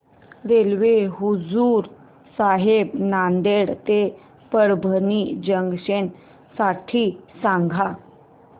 railway Hazur Sahib Nanded ते Parbhani junction साठी सांगा